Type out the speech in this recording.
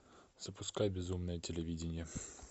запускай безумное телевидение